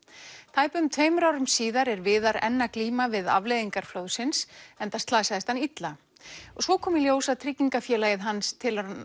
tæpum tveimur árum síðar er Viðar enn að glíma við afleiðingar flóðsins enda slasaðist hann illa og svo kom í ljós að tryggingafélagið hans telur hann